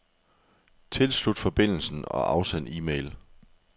Tilslut forbindelsen og afsend e-mail.